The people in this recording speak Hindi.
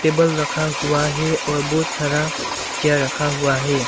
टेबल रखा हुआ है और बहुत सारा चेयर रखा हुआ है।